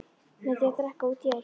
Með því að drekka út í eitt.